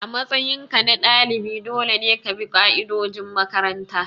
A matsayinka na dalibi dole ne ka bi ka'idojin makaranta.